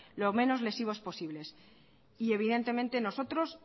lo menos lesivos posibles y evidentemente nosotros